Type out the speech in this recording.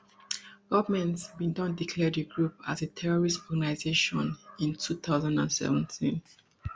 goment bin don declare di group as as terrorist organisation in two thousand and seventeen